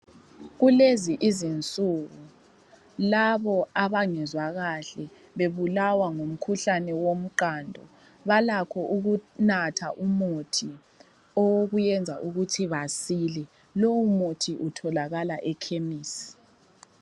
Kulezi izinsuku labo abangezwa kahle bebulawa ngumkhuhlane womqando balakho ukunatha umuthi owokuyenza ukuthi basile. Lowumuthi utholakala ekhemesi.